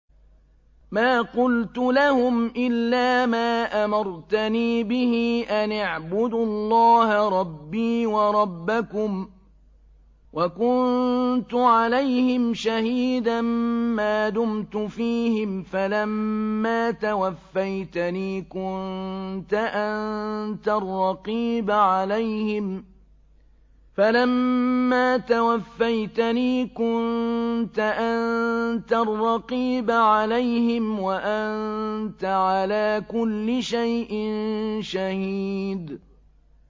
مَا قُلْتُ لَهُمْ إِلَّا مَا أَمَرْتَنِي بِهِ أَنِ اعْبُدُوا اللَّهَ رَبِّي وَرَبَّكُمْ ۚ وَكُنتُ عَلَيْهِمْ شَهِيدًا مَّا دُمْتُ فِيهِمْ ۖ فَلَمَّا تَوَفَّيْتَنِي كُنتَ أَنتَ الرَّقِيبَ عَلَيْهِمْ ۚ وَأَنتَ عَلَىٰ كُلِّ شَيْءٍ شَهِيدٌ